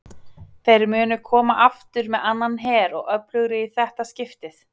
Þeir munu koma aftur með annan her og öflugri í þetta skiptið!